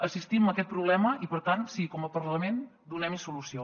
assistim a aquest problema i per tant sí com a parlament donem hi solució